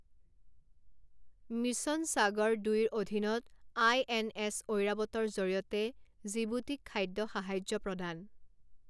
mission Sagar দুইৰ অধীনত INS ঐৰাৱতৰ জৰিয়তে জিবুতিক খাদ্য সাহায্য প্ৰদান